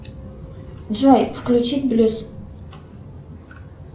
джой включить блюз